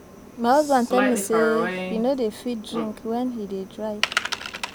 My husband tell me say he no dey fit drink wen he dey drive